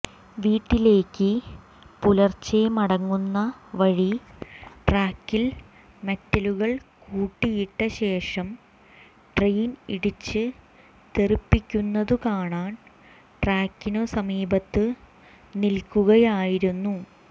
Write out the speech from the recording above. വീട്ടിലേക്ക് പുലർച്ചെ മടങ്ങുന്ന വഴി ട്രാക്കിൽ മെറ്റലുകൾ കൂട്ടിയിട്ട ശേഷം ട്രെയിൻ ഇടിച്ചു തെറിപ്പിക്കുന്നതു കാണാൻ ട്രാക്കിനു സമീപത്ത് നിൽക്കുകയായിരുന്നു